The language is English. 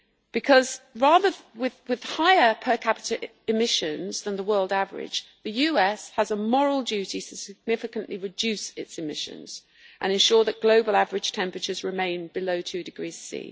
because with higher per capita emissions than the world average, the US has a moral duty to significantly reduce its emissions and ensure that global average temperatures remain below 2 degrees C.